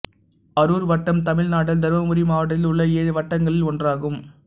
அரூர் வட்டம் தமிழ்நாட்டின் தர்மபுரி மாவட்டத்தில் உள்ள ஏழு வட்டங்களில் ஒன்றாகும்